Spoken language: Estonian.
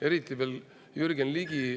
Eriti veel Jürgen Ligi …